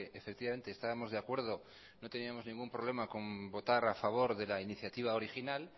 efectivamente estábamos de acuerdo no teníamos ningún problema con votar a favor de la iniciativa original